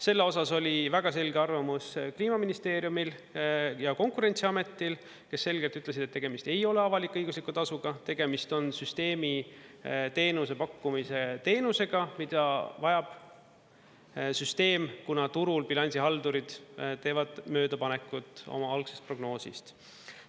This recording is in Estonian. Selle osas oli väga selge arvamus Kliimaministeeriumil ja Konkurentsiametil, kes selgelt ütlesid, et tegemist ei ole avalik-õigusliku tasuga, tegemist on süsteemiteenuse pakkumise teenusega, mida vajab süsteem, kuna turul bilansihaldurid teevad möödapanekut oma algsest prognoosist.